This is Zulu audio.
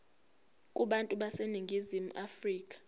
kubantu baseningizimu afrika